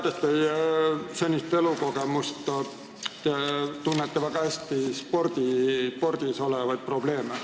Tean teie senist elukogemust: te tunnete väga hästi spordis olevaid probleeme.